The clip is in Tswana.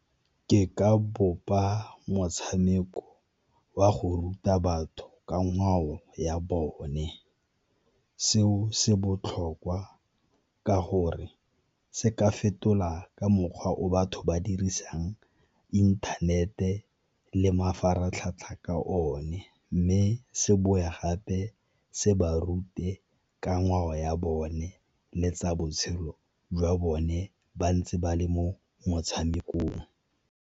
Ke ka bopa motshameko wa go ruta batho ka ngwao ya bone seo se botlhokwa ka gore se ka fetola ka mokgwa o batho ba dirisang inthanete le mafaratlhatlha ka one. Mme se boe gape se ba rute ka ngwao ya bone le tsa botshelo jwa bone ba ntse ba le mo motshamekong.